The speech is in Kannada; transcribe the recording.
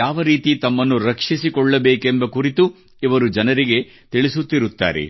ಯಾವರೀತಿ ತಮ್ಮನ್ನು ರಕ್ಷಿಸಿಕೊಳ್ಳಬೇಕೆಂಬ ಕುರಿತು ಇವರು ಜನರಿಗೆ ತಿಳಿಸುತ್ತಿರುತ್ತಾರೆ